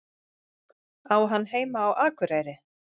Á hann heima á Akureyri?